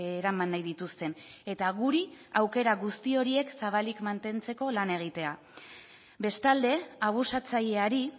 eraman nahi dituzten eta guri aukera guzti horiek zabalik mantentzeko lan egitea bestalde abusatzaileari